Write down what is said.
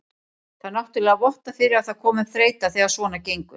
Það náttúrulega vottar fyrir að það komi upp þreyta þegar svona gengur.